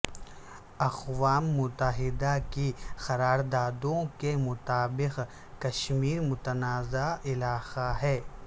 اقوام متحدہ کی قراردادوں کے مطابق کشمیر متنازعہ علاقہ ہے